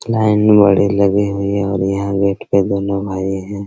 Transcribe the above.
Line में लगे हुए है यहाँ गेट पर दोनों भाई है।